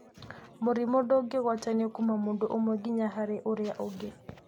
Mũrimũ ndũngĩgwatanio kũma mũndũ ũmwe ginya harĩ ũrĩa ũngĩ.